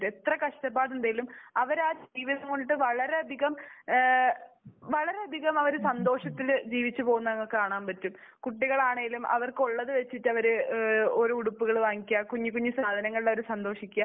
എത്ര കഷ്ടപ്പാടുണ്ടെങ്കിലും അവർ ആ ജീവിതം കൊണ്ടിട്ട് വളരെയധികം ഏഹ് വളരെയധികം ആ ഒരു സന്തോഷത്തിൽ ജീവിച്ചു പോകുന്നത് നമ്മൾക്ക് കാണാൻ പറ്റും. കുട്ടികളാണെങ്കിലും അവർക്കുള്ളത് വെച്ചിട്ട് അവർ ഏഹ് ഓരോ ഉടുപ്പുകൾ വാങ്ങിക്കുക, കുഞ്ഞുകുഞ്ഞു സാധനങ്ങളിൽ അവർ സന്തോഷിക്കുക.